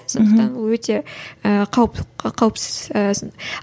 сондықтан ол өте ііі қауіпсіз ііі